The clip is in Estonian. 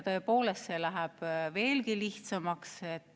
Tõepoolest, see läheb veelgi lihtsamaks.